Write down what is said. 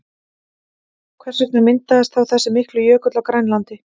Hvers vegna myndaðist þá þessi mikli jökull á Grænlandi?